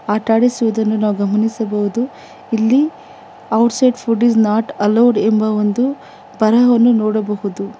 ಆಟ ಆಡಿಸುವುದನ್ನು ನಾವು ಗಮನಿಸಬಹುದು ಇಲ್ಲಿ outside food is not allowed ಎಂಬ ಒಂದು ಬರಹವನ್ನು ನೋಡಬಹುದು.